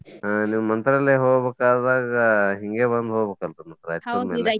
ಹಾ ನೀವ್ ಮಂತ್ರಾಲಯ ಹೋಗ್ಬೇಕಾದಾಗ ಹಿಂಗೇ ಬಂದ್ ಹೋಗ್ಬೇಕಲ್ರಿ ನಮ್ಮ್ ರಾಯಚೂರ್ ಮ್ಯಾಲೆ.